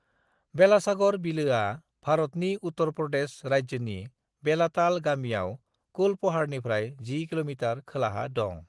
बेलासागर बिलोआ (Belasagar Lake) भारतनि उत्तर प्रदेश राज्योनि बेलाताल गामियाव कुलपहाड़निफ्राय 10 किमी खोलाहा दं।